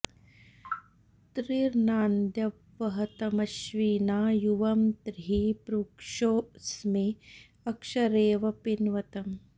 त्रिर्ना॒न्द्यं॑ वहतमश्विना यु॒वं त्रिः पृक्षो॑ अ॒स्मे अ॒क्षरे॑व पिन्वतम्